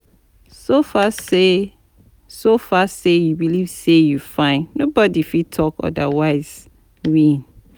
So far say So far say you believe say you fine nobody fit talk odirwise win